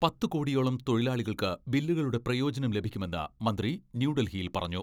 പത്ത് കോടിയോളം തൊഴിലാളികൾക്ക് ബില്ലുകളുടെ പ്രയോജനം ലഭിക്കുമെന്ന് മന്ത്രി ന്യൂഡൽഹിയിൽ പറഞ്ഞു.